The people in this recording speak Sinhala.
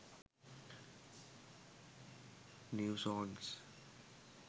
new songs